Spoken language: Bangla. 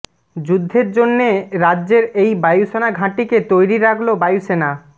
যুদ্ধের জন্যে রাজ্যের এই বায়ুসেনা ঘাঁটিকে তৈরি রাখল বায়ুসেনা